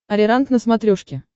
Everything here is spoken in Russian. ариранг на смотрешке